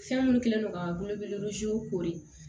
Fɛn minnu kɛlen don ka bolo kori